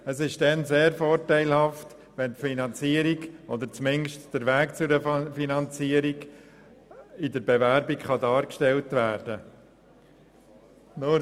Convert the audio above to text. Es ist dann vorteilhaft, wenn die Finanzierung oder zumindest der Weg dazu in der Bewerbung dargestellt werden kann.